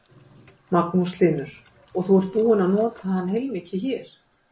Magnús Hlynur: Og þú ert búinn að nota hann heilmikið hér?